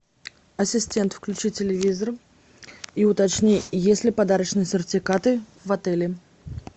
ассистент включи телевизор и уточни есть ли подарочные сертификаты в отеле